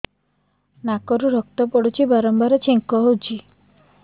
ନାକରୁ ରକ୍ତ ପଡୁଛି ବାରମ୍ବାର ଛିଙ୍କ ହଉଚି